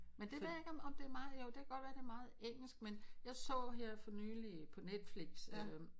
Men det der ikke om det er meget jo det kan godt være at det er meget engelsk men jeg så her for nyligt på Netflix øh